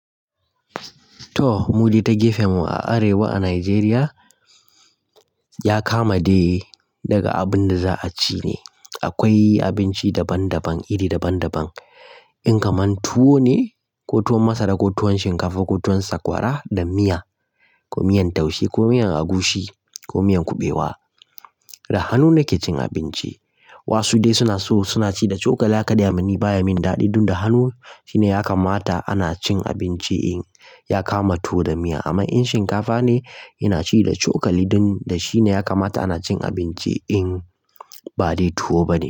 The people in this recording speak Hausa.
To, mudu ta gefen mu a Arewa a Najeriya, ya kama dai daga abin da za a ci ne. Akwai abinci daban-daban, iri daban-daban. In kaman tuwo ne, ko tuwon masara, ko tuwon shinkafa, ko tuwon sakwara da miya, ko miyan taushe ko miyan agushi ko miyan kuɓewa da hannu nake cin abinci. Wasu dai suna so suna ci da cokala kadai. Amma ni baya min daɗi dun da hannu shine ya kamata ana cin abinci in ya kama tuwo da miya. Amma in shinkafa ne ina ci da cokali don da shine ya kamata ana cin abinci in ba dai tuwo bane.